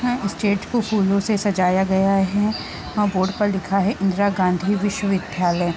stage को फूलों से सजाया गया है और बोर्ड पर लिखा है इंद्रा गाँधी विश्व विद्यालय--